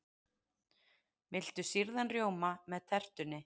Viltu sýrðan rjóma með tertunni?